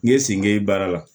N ye sen kelen baara la